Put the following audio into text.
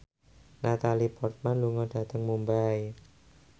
Natalie Portman lunga dhateng Mumbai